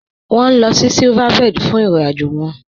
Wọn nílọ̀ sí Silverbird fún ìrìn-àjọ wọn.